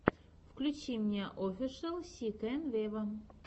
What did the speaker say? включи мне офишел си кэн вево